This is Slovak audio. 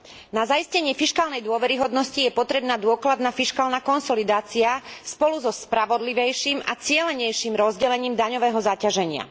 Na zaistenie fiškálnej dôveryhodnosti je potrebná dôkladná fiškálna konsolidácia spolu so spravodlivejším a cielenejším rozdelením daňového zaťaženia.